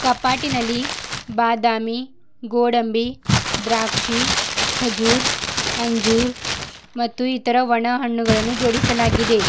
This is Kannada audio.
ಕಪಾಟಿನಲ್ಲಿ ಬಾದಾಮಿ ಗೋಡಂಬಿ ದ್ರಾಕ್ಷಿ ಕಜೂರ್ ಅಂಜೂರ್ ಮತ್ತು ಇತರ ಒಣ ಹಣ್ಣುಗಳನ್ನು ಜೋಡಿಸಲಾಗಿದೆ.